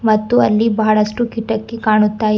ಮತ್ತು ಅಲ್ಲಿ ಬಹಳಷ್ಟು ಕಿಟಕಿ ಕಾಣುತ್ತಾ ಇವ್.